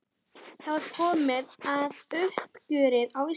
Það var komið að uppgjöri á Íslandi.